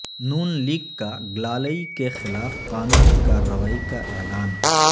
ن لیگ کا گلالئی کے خلاف قانونی کارروائی کا اعلان